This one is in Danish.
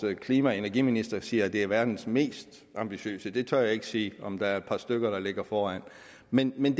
klima og energiminister siger at det er verdens mest ambitiøse jeg tør ikke sige om der er et par stykker der ligger foran men men